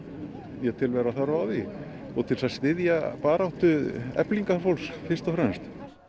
ég tel vera þörf á því og til þess að styðja baráttu Eflingar fólks fyrst og fremst